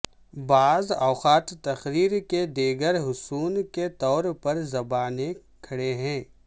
بعض اوقات تقریر کے دیگر حصوں کے طور پر زبانیں کھڑے ہیں